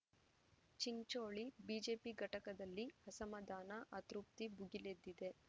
Chincholi BJP ಘಟಕದಲ್ಲಿ ಅಸಮಾಧಾನ ಅತೃಪ್ತಿ ಭುಗಿಲೆದ್ದಿದೆ